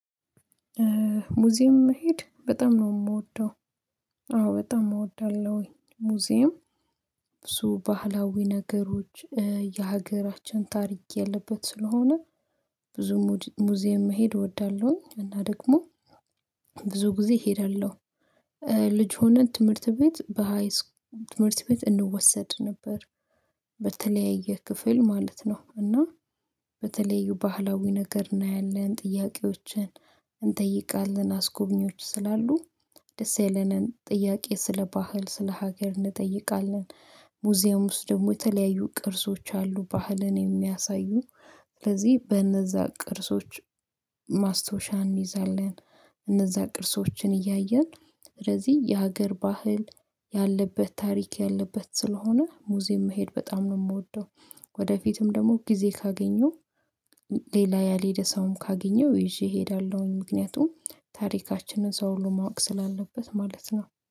ሙዚየም መሄድ በጣም ነው የምወደው። አዎ በጣም እወዳለሁኝ ሙዚየም ብዙ ባህላዊ ነገሮች የሀገራችን ታሪክ ያለበት ስለሆነ። ብዙ ሙዚየም መሄድ እወዳለሁኝ። እና ደግሞ ብዙ ጊዜ እሄዳለሁ። ልጅ ሆነን ትምህርት ቤት በሃይስኩልም ትምህርት ቤት እንወሰድ ነበር። በተለያየ ክፍል ማለት ነው እና በተለዩ ባህላዊ ነገር እናያለን። ጥያቄዎችን እንጠይቃለን አስጎብኚዎች ስላሉ ደስ ያለንን ጥያቄ ስለ ባህል ስለ ሀገር እንጠይቃለን። ሙዚየም ውስጥ ደግሞ የተለያዩ ቅርሶች አሉ ባህልን የሚያሳዩ። ስለዚህ በነዛ ቅርሶች ማስታወሻ እንይዛለን። እነዛ ቅርሶችን እያየን ስለዚህ የሀገር ባህል ያለበት ታሪክ ያለበት ስለሆነ ሙዚየም መሄድ በጣም ነው የምወደው። ወደፊትም ደግሞ ጊዜ ካገኘው ሌላ ያሌደ ሰው ካገኘው ይዤ እሄዳለሁ። ምክንያቱም ታሪካችንን ሰው ለማወቅ ስላለበት ማለት ነው